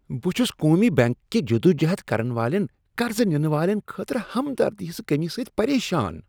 بہٕ چھٗس قومی بینک کہ جدوجہد کرن والین قرض نِنہٕ والین خٲطرٕ ہمدردی ہنٛز کٔمی سۭتۍ پریشان ۔